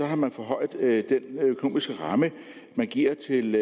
har man forhøjet den økonomiske ramme man giver til